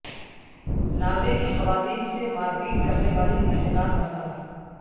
Norway کی خواتین سے مار پیٹ کرنے والی اہلکار برطرف